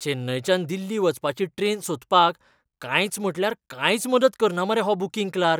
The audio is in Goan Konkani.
चेन्नयच्यान दिल्ली वचपाची ट्रेन सोदपाक कांयच म्हटल्यार कांयच मदत कन्ना मरे हो बूकिंग क्लार्क!